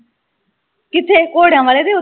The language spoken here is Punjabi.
ਕਿਥੇ ਘੋੜਿਆਂ ਵਾਲੇ ਤੇ ਓਥੇ